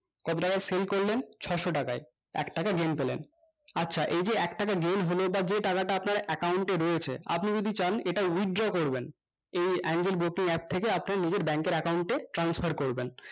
কত টাকাই sale করলেন ছয়শো টাকায় একটাকা game পেলেন আচ্ছা এই যে একটাকা game হলো ওটা যে টাকাটা আপনার account এ রয়েছে আপনি যদি চান আপনি withdraw ও করবেন এই angel broking app থেকে আপনার নিজের bank এর account এ transfer করবেন